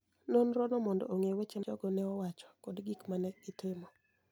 nonirono monido onig'e weche ma jogo ni e wacho koda gik ma ni e gitimo